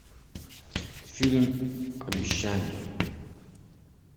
фильм обещание